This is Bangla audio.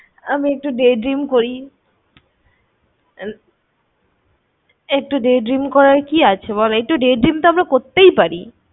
আমি একটু day dream করি। একটু day dream করার কি আছে বল? একটু day dream তো আমরা করতেই পারি।